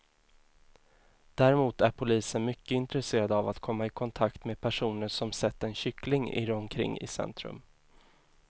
Däremot är polisen mycket intresserad av att komma i kontakt med personer som sett en kyckling irra omkring i centrum.